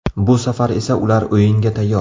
Bu safar esa ular o‘yinga tayyor.